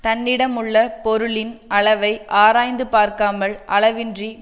தன்னிடமுள்ள பொருளின் அளவை ஆராய்ந்து பார்க்காமல் அளவின்றிக்